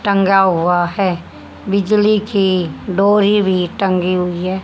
टंगा हुआ है बिजली की डोरी भी टंगी हुई है।